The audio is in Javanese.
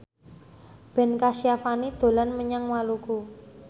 Ben Kasyafani dolan menyang Maluku